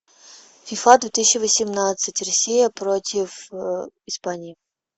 фифа две тысячи восемнадцать россия против испании